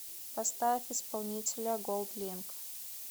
поставь исполнителя голдлинк